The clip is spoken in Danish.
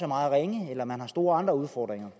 meget ringe eller man har andre store udfordringer